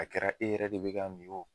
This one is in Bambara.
A kɛra e yɛrɛ de be k'a min o